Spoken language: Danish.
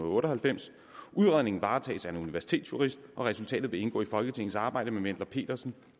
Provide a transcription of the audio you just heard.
otte og halvfems udredningen varetages af en universitetsjurist resultatet vil indgå i folketingets arbejde med wendler pedersen